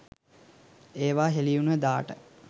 ඒව හෙලි උන දාට